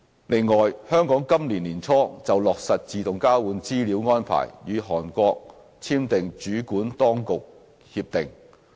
另外，香港今年年初就落實自動交換資料安排與韓國簽訂主管當局協定。